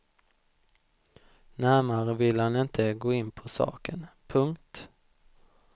Närmare ville han inte gå in på saken. punkt